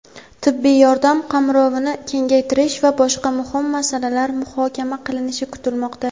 tibbiy yordam qamrovini kengaytirish va boshqa muhim masalalar muhokama qilinishi kutilmoqda.